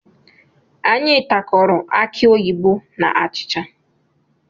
Anyi tarakọrọ akị oyibo na achịcha